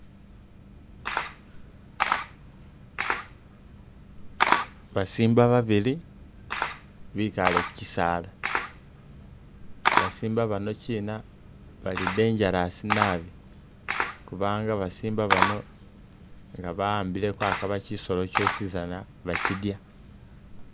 Ba simba babili bikaale ku chisaala, basimba banokina bali dangerous nabi kubanga ba simba bano nga ba'ambile akaba kisolo kyosizana bakidya.